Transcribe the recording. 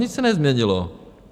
Nic se nezměnilo.